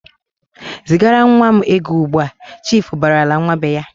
"Zigara nwa m ego ugbu!"Chiifu barala nwa be ya.